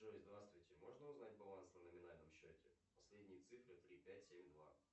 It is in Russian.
джой здравствуйте можно узнать баланс на номинальном счете последние цифры три пять семь два